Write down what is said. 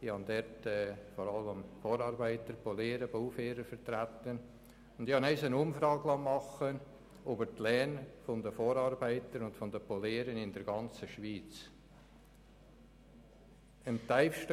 Ich habe vor allem Vorarbeiter, Poliere und Bauführer vertreten und dort einmal eine Umfrage über die Löhne der Vorarbeiter und Poliere in der ganzen Schweiz erstellen lassen.